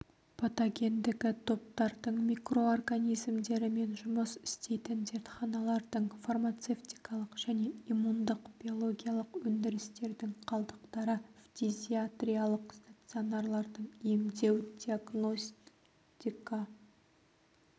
патогендігі топтардың микроорганизмдерімен жұмыс істейтін зертханалардың фармацевтикалық және иммундық биологиялық өндірістердің қалдықтары фтизиатриялық стационарлардың емдеу-диагностикалық